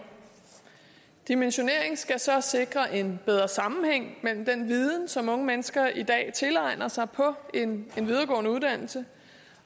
dimensioneringen skal så sikre en bedre sammenhæng mellem den viden som unge mennesker i dag tilegner sig på en videregående uddannelse